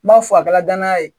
N b'a fɔ a kɛra danaya ye